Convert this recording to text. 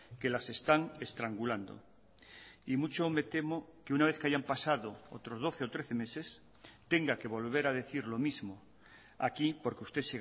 que las están estrangulando y mucho me temo que una vez que hayan pasado otros doce o trece meses tenga que volver a decir lo mismo aquí porque usted